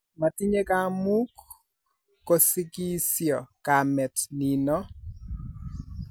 Matinye kamuke kusikisio kamet nino